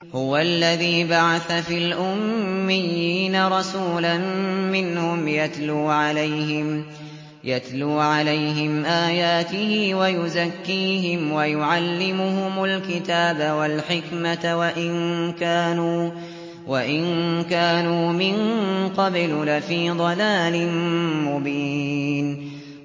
هُوَ الَّذِي بَعَثَ فِي الْأُمِّيِّينَ رَسُولًا مِّنْهُمْ يَتْلُو عَلَيْهِمْ آيَاتِهِ وَيُزَكِّيهِمْ وَيُعَلِّمُهُمُ الْكِتَابَ وَالْحِكْمَةَ وَإِن كَانُوا مِن قَبْلُ لَفِي ضَلَالٍ مُّبِينٍ